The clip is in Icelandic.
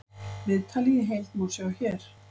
Viðtalið í heild má sjá hér